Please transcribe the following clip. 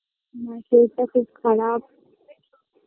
মা-এর শরীরটা খুব খারাপ